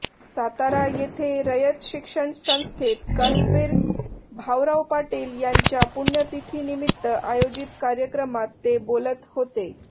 सातारा येथे रयत शिक्षण संस्थेत कर्मवीर भाऊराव पाटील यांच्या पुण्यतिथीनिमित्त आयोजित कार्यक्रमात ते बोलत होते